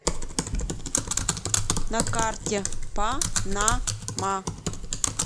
на карте па на ма